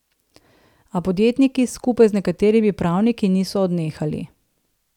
A podjetniki, skupaj z nekaterimi pravniki, niso odnehali.